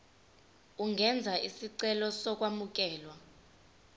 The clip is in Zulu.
ungenza isicelo sokwamukelwa